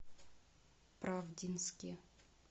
правдинске